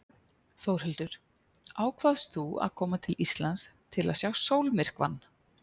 Þórhildur: Ákvaðst þú að koma til Íslands til að sjá sólmyrkvann?